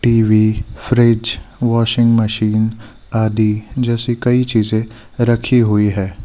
TV fridge washing machine आदि जैसी कई चीजें रखी हुई है।